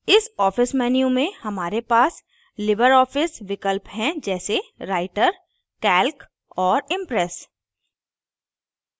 इस office menu में हमारे पास लिबर office विकल्प हैं जैसे writer calc और impress